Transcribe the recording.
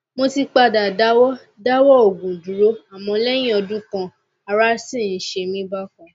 mo ti padà dáwọ dáwọ òògùn dúró àmọ lẹyìn ọdún kan ará sì ń ṣe mí bákan